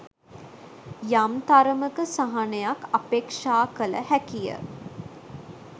යම් තරමක සහනයක් අපේක්‍ෂා කළ හැකිය